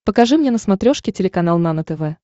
покажи мне на смотрешке телеканал нано тв